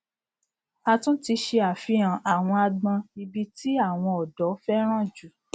a tún ti ṣe àfihàn àwọn agbon ibi tí àwon ọdọ féràn ju